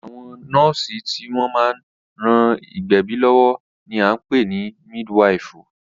Àwọn nọ́ọ̀sì tí wọ́n máa ń ran ìgbẹ̀bí lọ́wọ́ ní a ń pè ní mídwifù.